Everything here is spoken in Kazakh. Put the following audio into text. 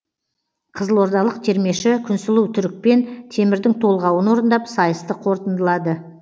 қызылордалық термеші күнсұлу түрікпен темірдің толғауын орындап сайысты қорытындылады